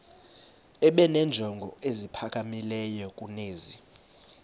benenjongo eziphakamileyo kunezi